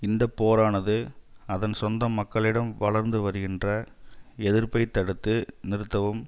இந்த போரானது அதன் சொந்த மக்களிடம் வளர்ந்து வருகின்ற எதிர்ப்பை தடுத்து நிறுத்தவும்